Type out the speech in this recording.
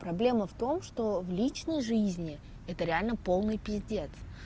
проблема в том что в личной жизни это реально полный пиздец